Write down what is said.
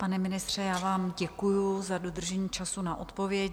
Pane ministře, já vám děkuju za dodržení času na odpověď.